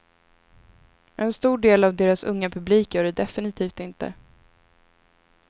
En stor del av deras unga publik gör det definitivt inte.